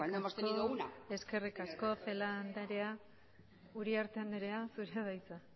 hemos tenido una eskerrik asko celaá andrea uriarte andrea zurea da hitza